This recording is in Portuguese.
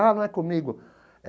Ah, não é comigo.